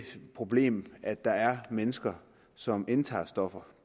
problem at der er mennesker som indtager stoffer